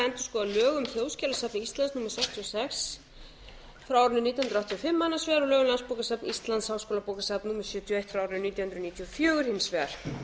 endurskoða lög um þjóðskjalasafn íslands númer sextíu og sex nítján hundruð áttatíu og fimm annars vegar og lögum um landsbókasafn íslands háskólabókasafn númer sjötíu og eitt nítján hundruð níutíu og fjögur hins vegar